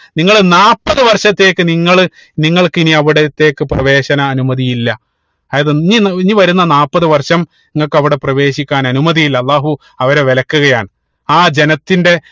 നിങ്ങള് നാൽപ്പത് വർഷത്തേക്ക് നിങ്ങള് നിങ്ങൾക്ക് ഇനി അവിടത്തേക്ക് പ്രവേശന അനുമതി ഇല്ല അതായത് ഇനി ഇനി വരുന്ന നാപ്പത് വർഷം നിങ്ങക്ക് അവിടെ പ്രവേശിക്കാൻ അനുമതി ഇല്ല അള്ളാഹു അവരെ വിലക്കുകയാണ് ആ ജനത്തിന്റെ